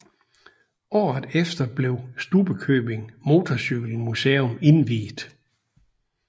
Året efter blev Stubbekøbing Motorcykelmuseum indviet